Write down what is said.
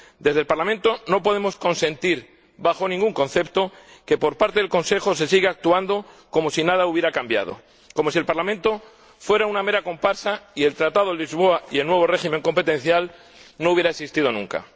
Desde el Parlamento no podemos consentir, bajo ningún concepto, que por parte del Consejo se siga actuando como si nada hubiera cambiado, como si el Parlamento fuera una mera comparsa y el Tratado de Lisboa y el nuevo régimen competencial no hubieran existido nunca.